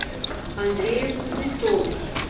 андрею кузнецову